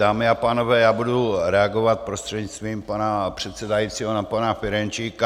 Dámy a pánové, já budu reagovat prostřednictvím pana předsedajícího na pana Ferjenčíka.